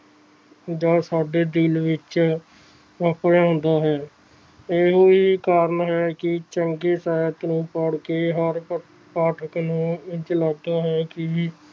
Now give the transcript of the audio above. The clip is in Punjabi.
ਦਾ ਸਾਡੇ ਦਿਨ ਵਿਚ ਆਪਣਾ ਹੁੰਦਾ ਹੈ ਇਹੀ ਕਾਰਨ ਹੈ ਚੌਂਕੀ ਸਾਹਿਬ ਪੜ੍ਹਕੇ ਹਰ ਪਾਠਕ ਨੂੰ ਇੰਚ ਲੱਗਦਾ ਹੈ ਕਿ